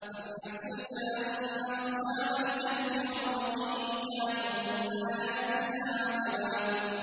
أَمْ حَسِبْتَ أَنَّ أَصْحَابَ الْكَهْفِ وَالرَّقِيمِ كَانُوا مِنْ آيَاتِنَا عَجَبًا